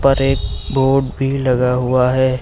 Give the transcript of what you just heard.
ऊपर एक बोर्ड भी लगा हुआ है।